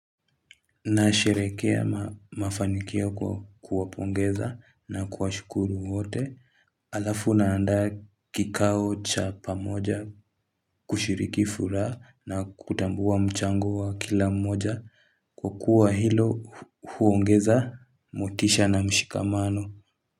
Nayasheherekea mafanikio kwa kuwapongeza na kuwashukuru wote halafu naandaa kikao cha pamoja kushiriki furaha na kutambua mchango wa kila mmoja kwa kuwa hilo huongeza motisha na mshikamano.